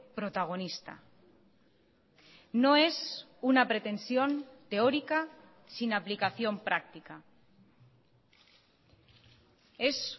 protagonista no es una pretensión teórica sin aplicación práctica es